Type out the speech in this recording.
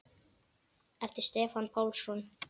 eftir Stefán Pálsson